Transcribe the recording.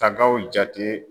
Tagaw jate